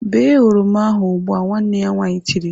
Bee oroma ahụ ugbu! "Nwanne ya nwaanyị tiri.